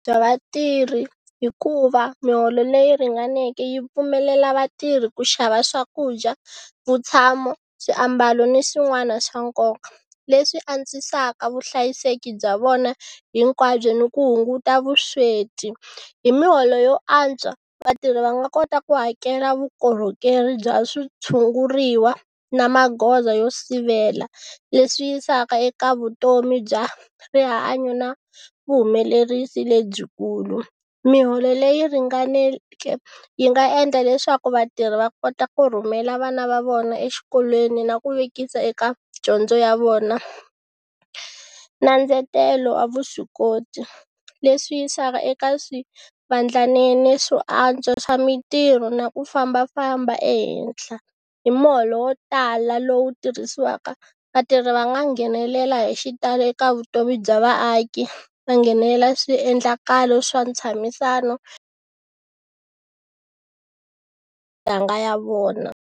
Bya vatirhi hikuva miholo leyi ringaneke yi pfumelela vatirhi ku xava swakudya, vutshamo, swiambalo ni swin'wana swa nkoka leswi antswisaka vuhlayiseki bya vona hinkwabyo ni ku hunguta vusweti, hi miholo yo antswa vatirhi va nga kota ku hakela vukorhokeri bya switshunguriwa na magoza yo sivela leswi yisaka eka vutomi bya rihanyo na vuhumelerisi lebyikulu. Miholo leyi ringaneke yi nga endla leswaku vatirhi va kota ku rhumela vana va vona exikolweni na ku vekisa eka dyondzo ya vona, na ndzetelo wa vuswikoti leswi yisaka eka swivandlanene swo antswa swa mintirho na ku fambafamba ehenhla hi muholo wo tala lowu tirhisiwaka vatirhi va nga nghenelela hi xitalo eka vutomi bya vaaki, va nghenelela swiendlakalo swa ntshamisano ya vona.